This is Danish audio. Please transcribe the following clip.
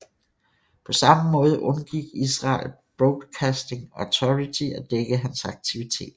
På samme måde undgik Israel Broadcasting Authority at dække hans aktiviteter